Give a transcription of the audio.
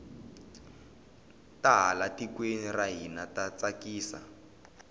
ta laha tikweni ra hina ta tsakisa